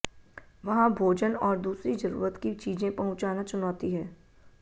वहां भोजन और दूसरी जरूरत की चीजें पहुंचाना चुनौती है